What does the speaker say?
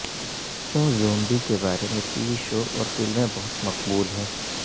کیوں زومبی کے بارے میں ٹی وی شو اور فلمیں بہت مقبول ہیں